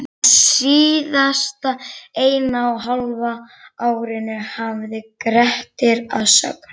Á síðasta eina og hálfa árinu hafði Grettir að sögn